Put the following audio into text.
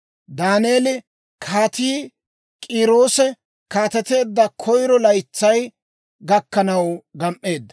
Daaneeli Kaatii K'iiroose kaateteedda koyiro laytsay gakkanaw gam"eedda.